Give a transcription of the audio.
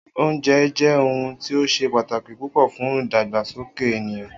Oúnje jé̩ ohun ti ó s̩e pàtàkì púpò̩ fún ìdàgbàsókè ènìyàn